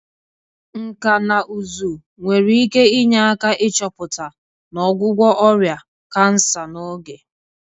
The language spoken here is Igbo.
Nkà na ụzụ nwere ike inye aka ịchọpụta na ọgwụgwọ ọrịa kansa n'oge.